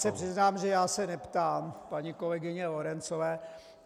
Já se přiznám, že já se neptám paní kolegyně Lorencové.